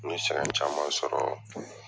N ye sɛgɛn caman sɔrɔ.